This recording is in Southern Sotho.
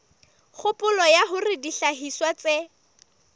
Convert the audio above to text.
kgopolo ya hore dihlahiswa tse